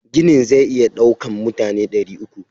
Ginin zai iya daukan mutane dari uku.